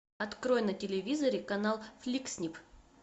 открой на телевизоре канал флик снип